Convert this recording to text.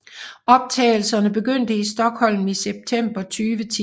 Optagelserne begyndte i Stockholm i september 2010